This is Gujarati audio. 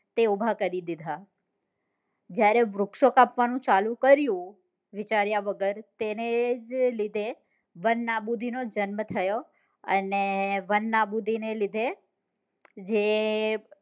તે ઉભા કરી દીધા જયારે વૃક્ષો કાપવા નું શરુ કર્યું વિચાર્યા વગર તેને જ લીધે વન નાબુદી નો જન્મ થયો અને વન નાબુદી ના લીધે જે